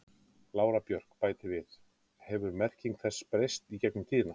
Lára Björk bætir við: Hefur merking þess breyst í gegnum tíðina?